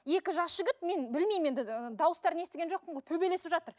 екі жас жігіт мен білмеймін енді ы дауыстарын естіген жоқпын ғой төбелесіп жатыр